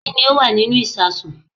Kí ni ó wà nínú ìsasùn